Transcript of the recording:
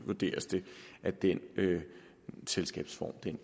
vurderes det at den selskabsform